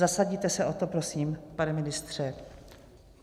Zasadíte se o to, prosím, pane ministře?